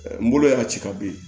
N bolo y'a ci ka bin